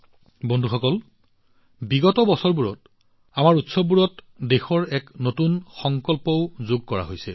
বন্ধুসকল বিগত বৰ্ষবোৰত আমাৰ উৎসৱৰ সৈতে দেশৰ এক নতুন সংকল্পও জড়িত হৈ আহিছে